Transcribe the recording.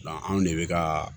anw de bɛ ka